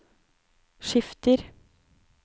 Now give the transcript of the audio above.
skifter